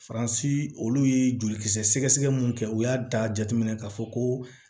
Faransi olu ye jolikisɛ sɛgɛsɛgɛ mun kɛ u y'a da jateminɛ k'a fɔ ko